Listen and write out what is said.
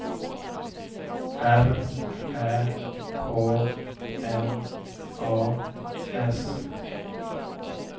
R Ä K N A S